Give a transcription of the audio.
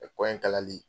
kɔ in kalali